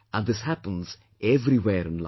And this happens everywhere in life